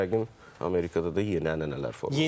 İndi yəqin Amerikada da yeni ənənələr formalaşır.